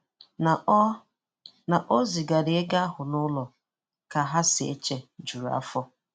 Na ọ Na ọ zigara ego ahụ n’ụlọ, ka ha si eche jụrụ afọ.